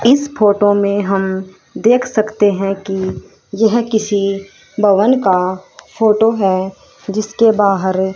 इस फोटो में हम देख सकते हैं कि यह किसी भवन का फोटो है जिसके बाहर--